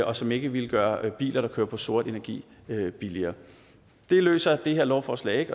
og som ikke ville gøre biler der kører på sort energi billigere det løser det her lovforslag